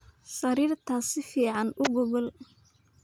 Sarirtaas si fican uu gogol.